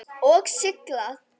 Og sigla?